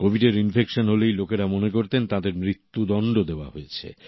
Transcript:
কোভিডর infection হলেই লোকেরা মনে করতেন তাঁদের মৃত্যদণ্ড দেওয়া হয়েছে